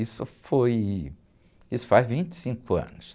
Isso foi, isso faz vinte e cinco anos.